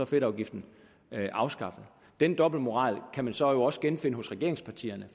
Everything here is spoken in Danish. fedtafgiften afskaffet den dobbeltmoral kan vi så også genfinde hos regeringspartierne